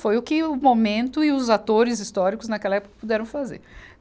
Foi o que o momento e os atores históricos naquela época puderam fazer.